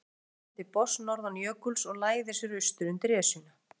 Sólin sokkin til botns norðan jökuls og læðir sér austur undir Esjuna.